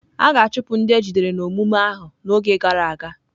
A ga-achụpụ ndị ejidere n'omume ahụ n'oge gara aga.